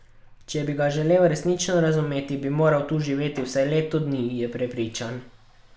Če bi ga želel resnično razumeti, bi moral tu živeti vsaj leto dni, je prepričan.